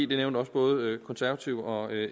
det nævnte også både konservative og